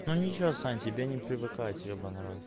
ну нельзя сань тебе не привыкать ебаный ворот